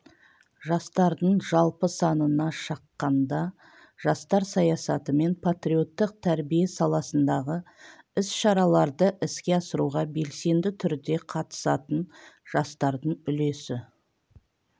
жастардың жалпы санына шаққанда жастар саясаты мен патриоттық тәрбие саласындағы іс-шараларды іске асыруға белсенді түрде қатысатын жастардың үлесі